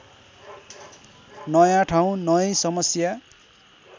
नयाँ ठाउँ नयैँ समस्या